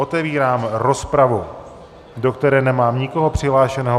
Otevírám rozpravu, do které nemám nikoho přihlášeného.